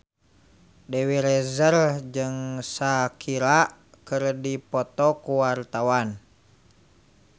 Dewi Rezer jeung Shakira keur dipoto ku wartawan